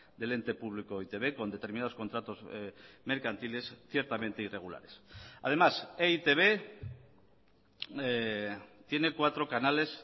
del ente público e i te be con determinados contratos mercantiles ciertamente irregulares además e i te be tiene cuatro canales